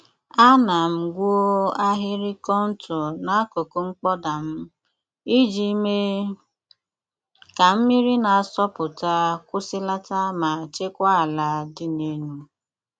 Ana m gwuo ahịrị kọntọ n'akụkụ mkpọda m, iji mee ka mmiri na-asọpụta kwụsịlata ma chekwaa ala dị n'elu.